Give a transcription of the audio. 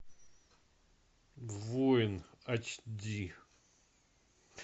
воин ач ди